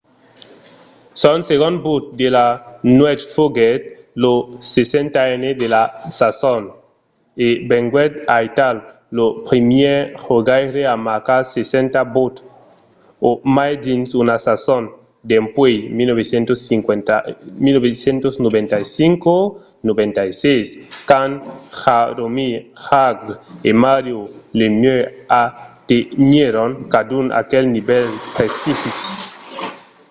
son segond but de la nuèch foguèt lo 60n de la sason e venguèt aital lo primièr jogaire a marcar 60 buts o mai dins una sason dempuèi 1995-96 quand jaromir jagr e mario lemieux atenhèron cadun aquel nivèl prestigis